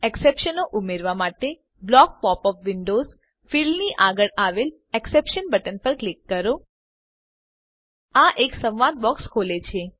એક્સેપ્શનોને ઉમેરવા માટે block pop up windows ફીલ્ડની આગળ આવેલ એક્સેપ્શન્સ બટન પર ક્લિક કરો આ એક સંવાદ બોક્સ ખોલે છે